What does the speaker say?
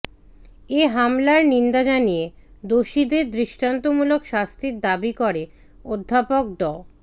এ হামলার নিন্দা জানিয়ে দোষীদের দৃষ্টান্তমূলক শাস্তির দাবি করে অধ্যাপক ড